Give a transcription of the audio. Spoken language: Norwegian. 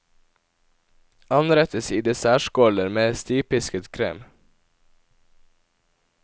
Anrettes i dessertskåler med stivpisket krem.